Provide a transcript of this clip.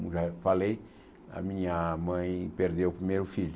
Como já falei, a minha mãe perdeu o primeiro filho.